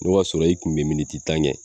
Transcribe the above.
N'o y'a sɔrɔ i kun bɛ miniti tan kɛ.